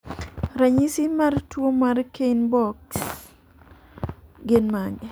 Ranyisi mar tuwo mar Kienbocks gin mage?